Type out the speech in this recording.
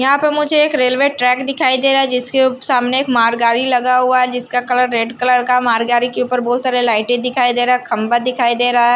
यहां पर मुझे एक रेलवे ट्रैक दिखाई दे रहा है जिसके सामने एक मालगाड़ी लगा हुआ है जिसका कलर रेड कलर का मालगाड़ी के ऊपर बहुत सारे लाइटे दिखाई दे रहा है खंबा दिखाई दे रहा है।